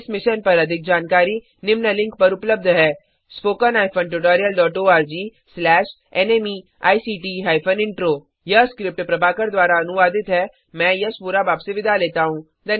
इस मिशन पर अधिक जानकारी निम्न लिंक पर उपलब्ध है httpspoken tutorialorgNMEICT Intro यह स्क्रिप्ट प्रभाकर द्वारा अनुवादित है आईआईटी मुंबई की ओर से मैं यश वोरा अब आपसे विदा लेता हूँ